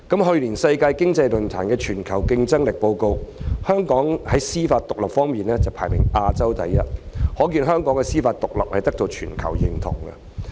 去年世界經濟論壇的《全球競爭力報告》顯示，在司法獨立方面，香港在亞洲排行第一，可見香港的司法獨立得到全球認同。